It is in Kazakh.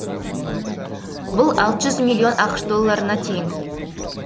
бұл алты жүз миллион ақш долларына тең